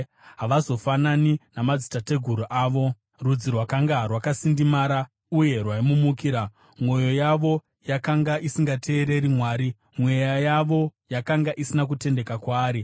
Havazofanani namadzitateguru avo, rudzi rwakanga rwakasindimara uye rwaimumukira, mwoyo yavo yakanga isingateereri Mwari, mweya yavo yakanga isina kutendeka kwaari.